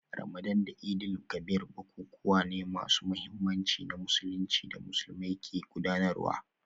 Ramadan da Eid-el-Kabir bukukuwa ne masu muhimmanci na Musulunci da Musulmai ke gudanarwa